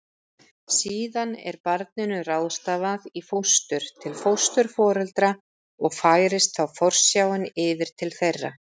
Síðan er barninu ráðstafað í fóstur til fósturforeldra og færist þá forsjáin yfir til þeirra.